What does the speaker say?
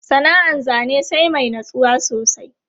Sana'an zane sai mai natsuwa sosai.